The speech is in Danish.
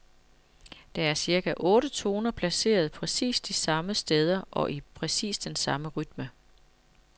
Der er cirka otte toner placeret præcis de samme steder og i præcis den samme rytme.